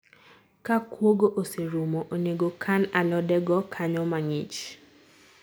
Ka kuogo oserumo, onego kan alode go kanyo mang'ich